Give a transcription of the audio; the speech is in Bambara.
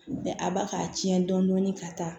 a ba k'a tiɲɛ dɔɔnin ka taa